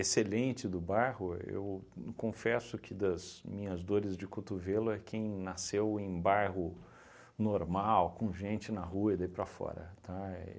excelente do bairro, eu confesso que, das minhas dores de cotovelo, é quem nasceu em bairro normal, com gente na rua e daí para fora, tá,